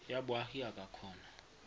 ya boagi a ka kgona